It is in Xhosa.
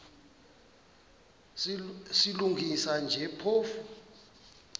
silungisa nje phofu